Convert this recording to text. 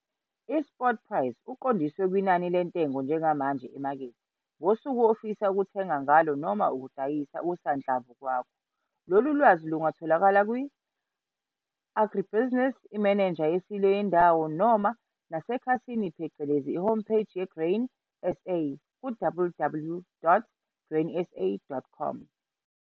I-spot price uqondiswe kunani le ntengo njengamanje emakethe ngosuku ofisa ukuthenga ngalo, noma ukudayisa, okusanhlamvu kwakho. Lolu lwazi lungatholakala kwa-agribusiness, imenenja yesilo yendawo noma nasekhasini phecelezi i-home page ye-Grain SA, ku-www.grainsa.com.